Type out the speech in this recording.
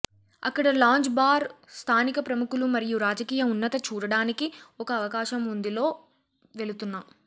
అక్కడ lounge bar స్థానిక ప్రముఖులు మరియు రాజకీయ ఉన్నత చూడడానికి ఒక అవకాశం ఉంది లో వెళుతున్న